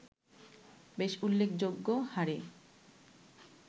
বেশ উল্লেখযোগ্য হারে